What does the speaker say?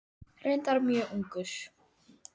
Reyndar mjög ungur.